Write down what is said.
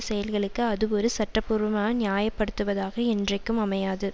செயல்களுக்கு அது ஒரு சட்டபூர்வமான நியாயப்படுத்துவதாக என்றைக்கும் அமையாது